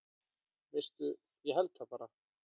Veistu, ég held það bara.